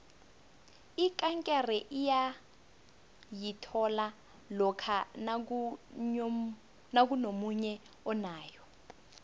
ikankere uyayithola lokha nakunomunye onayo